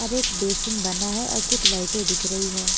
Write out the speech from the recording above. हर एक बेशिन बना है और कुछ लाइटें दिख रही है।